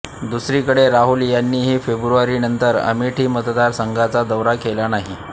दुसरीकडे राहुल यांनीही फेब्रुवारीनंतर अमेठी मतदारसंघाचा दौरा केलेला नाही